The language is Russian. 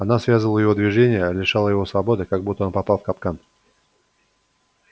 она связывала его движения лишала его свободы как будто он попал в капкан